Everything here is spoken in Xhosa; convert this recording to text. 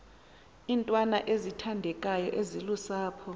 iintwana ezithandekayo ezilusapho